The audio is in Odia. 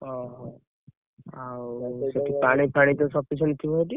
ଓହୋ! ଆଉ ସେଠି ତ ପାଣି ଫାନି sufficient ଥିବ ସେଠି?